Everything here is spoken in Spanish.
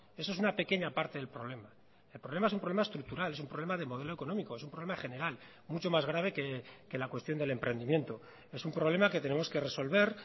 eso es una pequeña parte del problema el problema es un problema estructural es un problema de modelo económico es un problema general mucho más grave que la cuestión del emprendimiento es un problema que tenemos que resolver